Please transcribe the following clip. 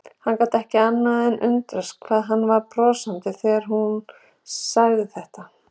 Hann gat ekki annað en undrast hvað hún var brosandi þegar hún sagði þetta.